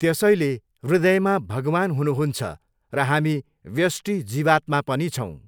त्यसैले हृदयमा भगवान् हुनुहुन्छ र हामी व्यष्टि जीवात्मा पनि छौँ।